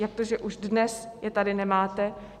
Jak to, že už dnes je tady nemáte?